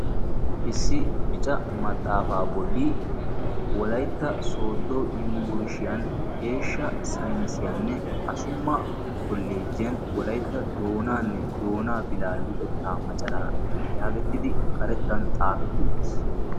issi bicca maxaafa bolli wolaytta sooddo yunbburshshiyaan eeshsha sayinissiyanne assumma kolleejiyaan wolaytta doonanne doona bila luxetta maccaraa yaagetiddi karettan xaafeti uttiis.